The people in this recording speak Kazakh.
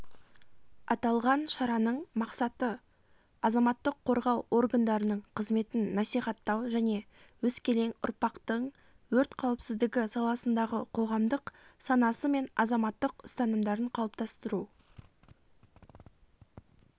аталған шараның мақсаты азаматтық қорғау органдарының қызметін насихаттау және өскелең ұрпақтың өрт қауіпсіздігі саласындағы қоғамдық санасы мен азаматтық ұстанымдарын қалыптастыру